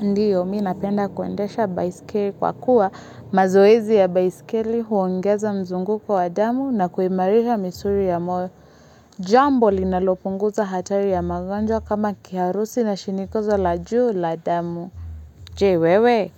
Ndio, mi napenda kuendesha baiskeli kwa kuwa mazoezi ya baiskeli huongeza mzunguko wa damu na kuimarisha misuli ya moyo. Jambo linalopunguza hatari ya magonjwa kama kiharusi na shinikizo la juu la damu. Je, wewe,